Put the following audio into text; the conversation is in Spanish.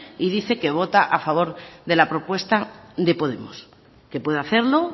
y dice que vota a favor de la propuesta de podemos que puede hacerlo